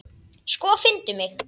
Sko, finndu mig.